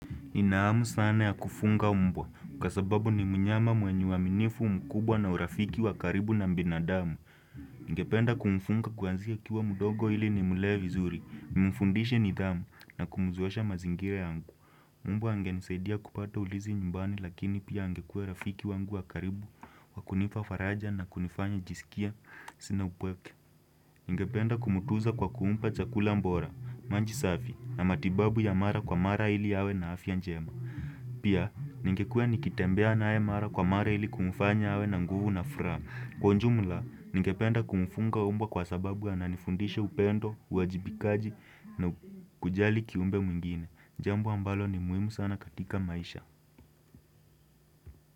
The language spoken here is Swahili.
Ninahamu sana ya kufunga mbwa, kwa sababu ni mnyama mwenye uaminifu mkubwa na urafiki wakaribu na binadamu. Ningependa kumfunga kuanzia akiwa mdogo ili ni mlee vi zuri, nimfundishe nidhamu na kumuzoesha mazingira yangu. Mbwa angenisaidia kupata ulinzi nyumbani lakini pia angekuwa rafiki wangu wakaribu, wakunipa faraja na kunifanya nijisikie, sina upweke. Ningependa kumtunza kwa kumpa chakula bora, maji safi na matibabu ya mara kwa mara ili awe na afya njema. Pia, ningekuwe nikitembea naye mara kwa mara ili kumfanya awe na nguvu na furaha. Kwa ujumla, ningependa kumfunga mbwa kwa sababu ananifundisha upendo, uwajibikaji na kujali kiumbe mwingine. Jambo ambalo ni muhimu sana katika maisha.